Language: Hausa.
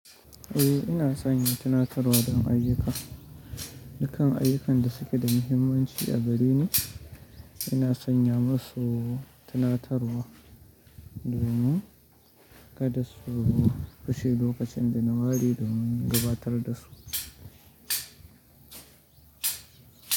Eh ina sanya tunatarwa don ayyuka. Dukan ayyukan da suke da muhimmanci a gare ni. Ina sanya masu tunatarwa domin kada su rushe lokacin da na wari domin gudanar da su.